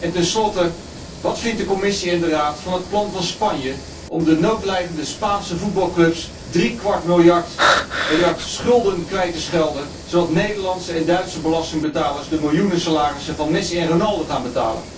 En tenslotte, wat vinden de Commissie en de Raad van het plan van Spanje om de noodlijdende Spaanse voetbalclubs drie kwart miljard euro schulden kwijt te schelden, zodat Nederlandse en Duitse belastingbetalers de miljoenensalarissen van Messi en Ronaldo gaan betalen?